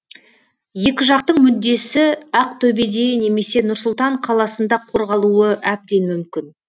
екі жақтың мүддесі ақтөбеде немесе нұр сұлтан қаласында қорғалуы әбден мүмкін